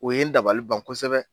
O ye n dabali ban kosɛbɛ!